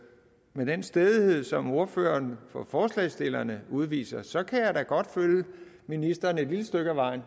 med den stædighed som ordføreren for forslagsstillerne udviser så kan jeg da godt følge ministeren et lille stykke ad vejen